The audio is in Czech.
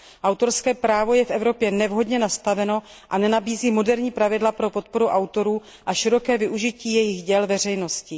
Autorské právo je v Evropě nevhodně nastaveno a nenabízí moderní pravidla pro podporu autorů a široké využití jejich děl veřejností.